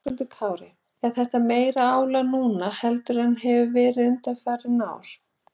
Höskuldur Kári: Er þetta meira álag núna heldur en hefur verið undanfarin ár?